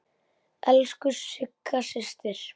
Elsku Sigga systir.